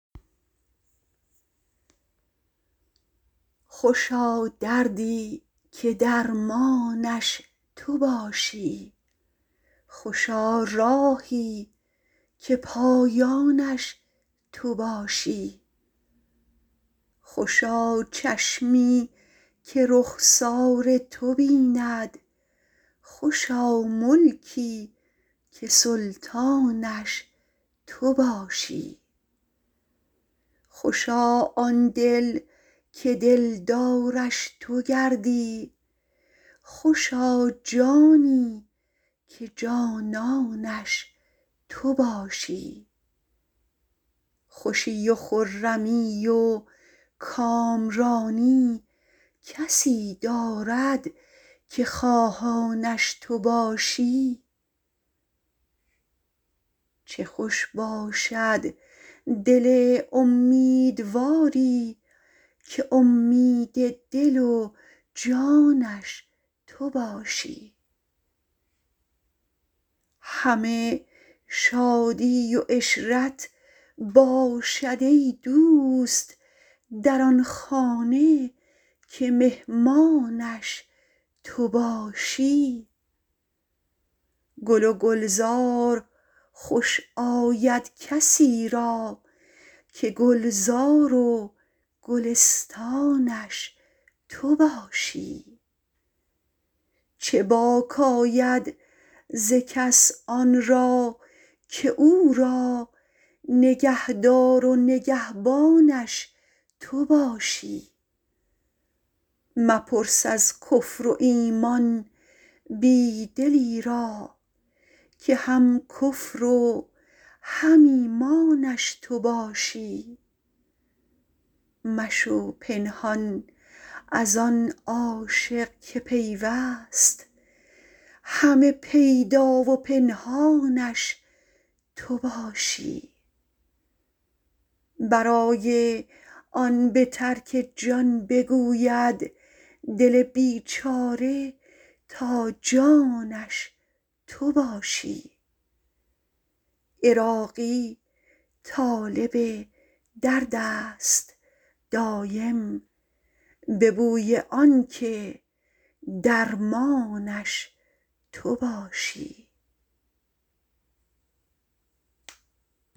خوشا دردی که درمانش تو باشی خوشا راهی که پایانش تو باشی خوشا چشمی که رخسار تو بیند خوشا ملکی که سلطانش تو باشی خوشا آن دل که دلدارش تو گردی خوشا جانی که جانانش تو باشی خوشی و خرمی و کامرانی کسی دارد که خواهانش تو باشی چه خوش باشد دل امیدواری که امید دل و جانش تو باشی همه شادی و عشرت باشد ای دوست در آن خانه که مهمانش تو باشی گل و گلزار خوش آید کسی را که گلزار و گلستانش تو باشی چه باک آید ز کس آن را که او را نگهدار و نگهبانش تو باشی مپرس از کفر و ایمان بی دلی را که هم کفر و هم ایمانش تو باشی مشو پنهان از آن عاشق که پیوست همه پیدا و پنهانش تو باشی برای آن به ترک جان بگوید دل بیچاره تا جانش تو باشی عراقی طالب درد است دایم به بوی آنکه درمانش تو باشی